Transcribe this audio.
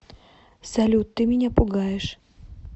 салют ты меня пугаешь